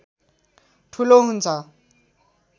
ठुलो हुन्छ